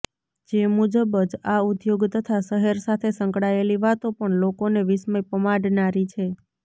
જે મુજબ જ આ ઉદ્યોગ તથા શહેર સાથે સંકળાયેલી વાતો પણ લોકોને વિસ્મય પમાડનારી છે